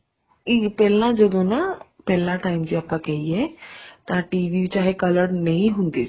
ਇਹ ਪਹਿਲਾਂ ਜਦੋਂ ਨਾ ਪਹਿਲਾਂ time ਚ ਆਪਾਂ ਕਹਿਏ ਤਾਂ TV ਚਾਹੇ colored ਨਹੀਂ ਹੁੰਦੇ ਸੀ